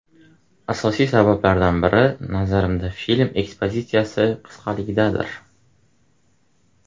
Asosiy sabablaridan biri, nazarimda, film ekspozitsiyasi qisqaligidadir.